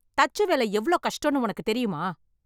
தச்சு வேலை எவ்வளவு கஷ்டம்னு உனக்கு தெரியுமா?